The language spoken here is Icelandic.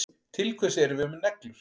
Til hvers erum við með neglur?